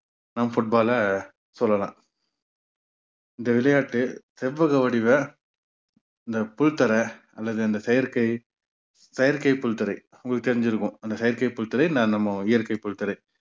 நாம் football ல சொல்லலாம் இந்த விளையாட்டு செவ்வக வடிவ இந்த புல்தரை அல்லது அந்த செயற்கை செயற்கைப் புல்தரை உங்களுக்கு தெரிஞ்சிருக்கும் அந்த செயற்கைப் புல்தரை நான் நம்ம இயற்கைப் புல்தரை